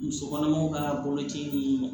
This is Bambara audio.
Muso kɔnɔmaw ka boloci ni